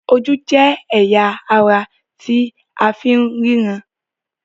Ojú jé ẹya àrà tí àfín ríran